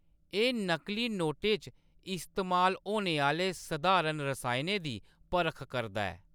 एह्‌‌ नकली नोटें च इस्तेमाल होने आह्‌‌‌ले सधारण रसायनें दी परख करदा ऐ।